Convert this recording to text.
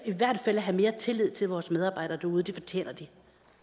have mere tillid til vores medarbejdere derude det fortjener de